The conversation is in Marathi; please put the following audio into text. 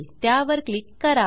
त्यावर क्लिक करा